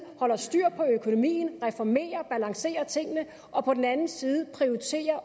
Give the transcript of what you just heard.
holder styr på økonomien reformerer balancerer tingene og på den anden side